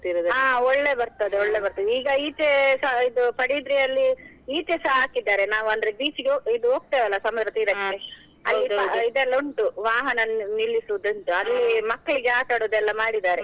ಹಾ ಒಳ್ಳೆ ಬರ್ತದೆ ಒಳ್ಳೆ ಬರ್ತದೆ, ಈಗ ಈಚೆಸ ಇದು ಪದುಬಿದ್ರಿಯಲ್ಲಿ ಈಚೆಸ ಹಾಕಿದ್ದಾರೆ ನಾವ್ ಅಂದ್ರೆ beach ಇಗೆ ಇದು ಹೋಗ್ತೆವಲ್ಲ ಸಮುದ್ರ ಇದೆಲ್ಲ ಉಂಟು ವಾಹನ ನಿ~ ನಿಲ್ಲಿಸುವುದು ಉಂಟು, ಮಕ್ಳಿಗೆ ಆಟಾಡುದು ಎಲ್ಲ ಮಾಡಿದ್ದಾರೆ.